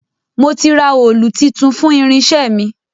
Mo ti ra òòlù titun fún irinṣẹ́ mi